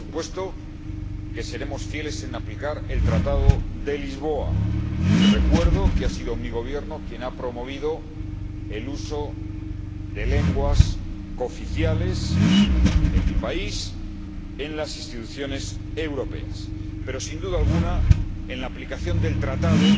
Por supuesto que seremos fieles en aplicar el Tratado de Lisboa y recuerdo que ha sido mi Gobierno quien ha promovido el uso de lenguas cooficiales en mi país en las instituciones europeas. Pero, sin duda alguna, en la aplicación del Tratado